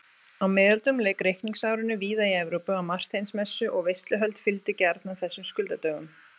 Á miðöldum lauk reikningsárinu víða í Evrópu á Marteinsmessu og veisluhöld fylgdu gjarnan þessum skuldadögum.